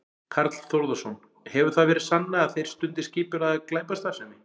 Karl Þórðarson: Hefur það verið sannað að þeir stundi skipulagða glæpastarfsemi?